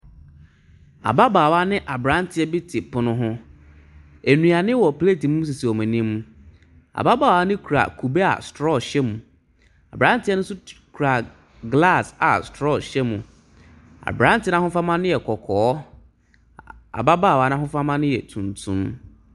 Ababaawa ne aberanteɛ bi te pono ho. Ɛnuane wɔ plet mu sisi ɔmo anim. Ababaawa no kura kube a strɔɔ hyɛm. Aberanteɛ no nso kura glas a strɔɔ hyɛ mu. Aberanteɛ n'ahofama yɛ kɔkɔɔ. Ababaawa n'ahofama no yɛ tuntum.